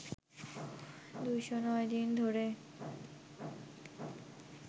২০৯ দিন ধরে